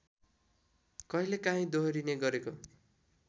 कहिलेकाँहि दोहोरिने गरेको